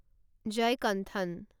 Jayakanthan